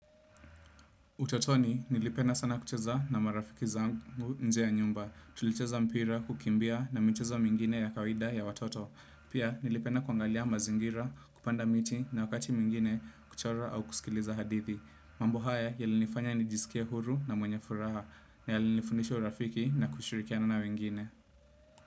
Utotoni, nilipenda sana kucheza na marafiki zangu nje ya nyumba. Tulicheza mpira, kukimbia na michezo mingine ya kawida ya watoto. Pia nilipenda kuangalia mazingira, kupanda miti na wakati mwingine kuchora au kusikiliza hadithi. Mambo haya, yalinifanya nijisike huru na mwenye furaha. Na yalinifundisha urafiki na kushirikiana na wengine.